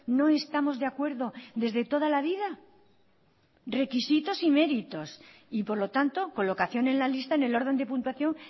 no estamos de acuerdo desde toda la vida requisitos y méritos y por lo tanto colocación en la lista en el orden de puntuación